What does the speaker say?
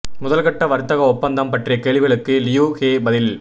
முதல் கட்ட வர்த்தக ஒப்பந்தம் பற்றிய கேள்விகளுக்கு லியூ ஹே பதில்